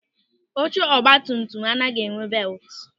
Oche ọgbatumtum anaghị enwe belti.